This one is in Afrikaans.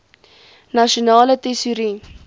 nasionale tesourie